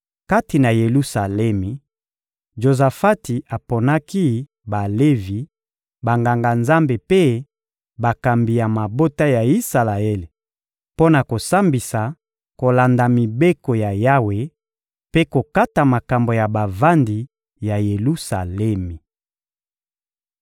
Kati na Yelusalemi, Jozafati aponaki Balevi, Banganga-Nzambe mpe bakambi ya mabota ya Isalaele mpo na kosambisa kolanda Mibeko ya Yawe mpe kokata makambo ya bavandi ya Yelusalemi.